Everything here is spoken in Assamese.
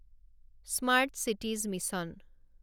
smart cities mission